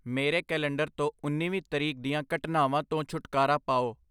ਮੇਰੇ ਕੈਲੰਡਰ ਤੋਂ ਉਨ੍ਹੀਵੀਂ ਤਰੀਕ ਦੀਆਂ ਘਟਨਾਵਾਂ ਤੋਂ ਛੁਟਕਾਰਾ ਪਾਓ